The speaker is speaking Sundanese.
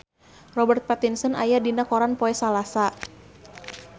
Robert Pattinson aya dina koran poe Salasa